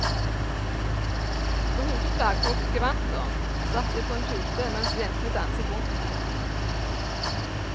Med hodeplagg og gevanter satt jeg på en pute mens jentene danset rundt meg.